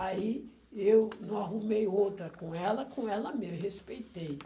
Aí eu não arrumei outra com ela, com ela mesmo, respeitei.